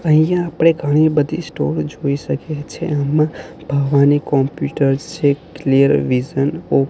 અહીંયા આપણે ઘણી બધી સ્ટોર જોઈ શકીએ છે આમાં ભવાની કોમ્પ્યુટર્સ છે ક્લિયર વિઝન ઓફ --